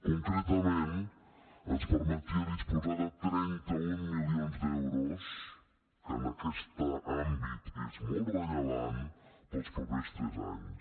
concretament ens permetia disposar de trenta un milions d’euros que en aquest àmbit és molt rellevant per als propers tres anys